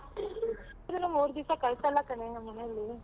ಮೂರ್ ದಿವಸ ಕಳ್ಸಲ್ಲ ಕಣೆ ನಮ್ಮನೇಲಿ.